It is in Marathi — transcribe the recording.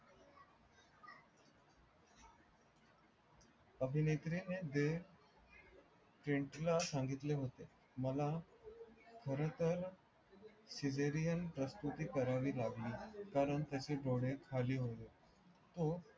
अभिनेत्रीणे जे फ्रेंड संगितले होते मला खर तर सीझेरिअन प्रस्तूती करावी लागली कारण त्याचे डोळे खाली होते.